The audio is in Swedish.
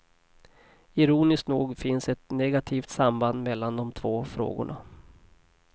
Ironiskt nog finns ett negativt samband mellan de två frågorna.